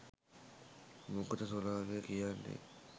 මොකද සුනාමිය කියන්නෙ